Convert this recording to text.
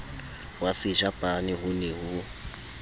wa sejapane ho ne ho